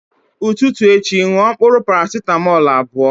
Ụtụtụ echi ṅụọ mkpụrụ parasetamọl abụọ